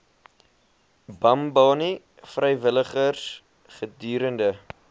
bambanani vrywilligers gedurende